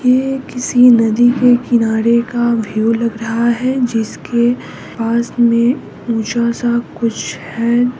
ये किसी नदी के किनारे का व्यू लग रहा है जिसके पास में ऊँचा सा कुछ है।